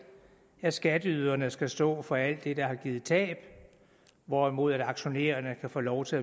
at skatteyderne skal stå for alt det der har givet tab hvorimod aktionærerne kan få lov til